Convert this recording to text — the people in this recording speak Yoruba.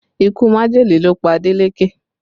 Ikú majele ló pa Adeleke